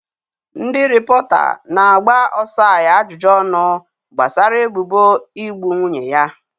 Ndị rịpọta na-agba Osai ajụjụ ọnụ gbasara ebubo igbu nwunye ya.